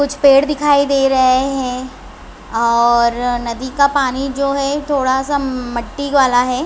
कुछ पेड़ दिखाई दे रहे है और नदी का पानी जो है थोड़ा सा मट्टी वाला है।